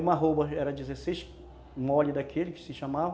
Uma arroba era dezesseis mole daquele, que se chamava.